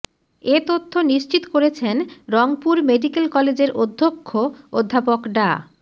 এ তথ্য নিশ্চিত করেছেন রংপুর মেডিক্যাল কলেজের অধ্যক্ষ অধ্যাপক ডা